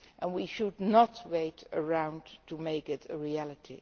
We should not wait around to make it a reality.